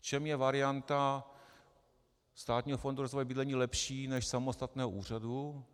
V čem je varianta Státního fondu rozvoje bydlení lepší než samostatného úřadu?